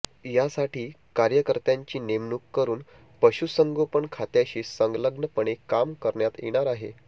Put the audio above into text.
यासाठी कार्यकर्त्यांची नेमणूक करून पशुसंगोपन खात्याशी संलग्नपणे काम करण्यात येणार आहे